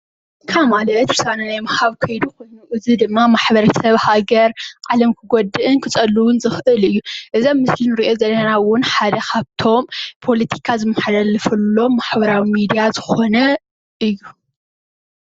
ካ ማለት ውሳነ ናይ ምሃብ ኾይኑ እዚ ድማ ማ/ሰብ ሃገር ዓለም ክጎድእን ክፀልውን ዝኽእል እዩ። እዞም ኣብ ምስሊ እንርእዮ ዘለና እውን ሓደ ካብቶም ፖለቲካ ዝመሓላለፈሎም ማሕበራዊ ሚድያ ዝኾነ እዩ።